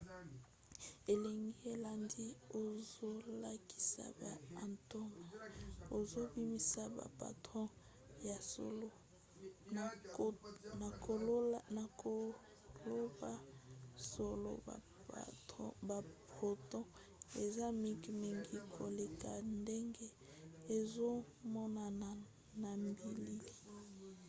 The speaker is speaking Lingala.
elilingi elandi ezolakisa ba atome ezobimisa ba proton. ya solo na koloba solo ba proton eza mike mingi koleka ndenge ezomonana na bilili